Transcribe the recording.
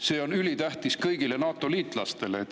See on ülitähtis kõigile NATO-liitlastele.